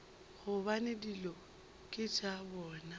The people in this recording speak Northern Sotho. gobane dilo ke tša bona